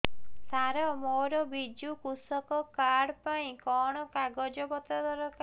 ସାର ମୋର ବିଜୁ କୃଷକ କାର୍ଡ ପାଇଁ କଣ କାଗଜ ପତ୍ର ଦରକାର